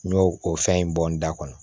N y'o o fɛn in bɔ n da kɔnɔ